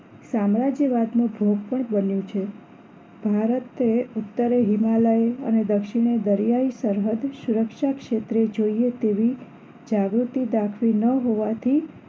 સામ્રાજ્યવાદ નું ભોગ પણ બન્યું છે ભારતે ઉત્તરે હિમાલય અને દક્ષિણે દરિયાઈ સરહદ સુરક્ષા ક્ષેત્રે જોઈએ તેવી જાગૃતિ દાખવી ન હોવાથી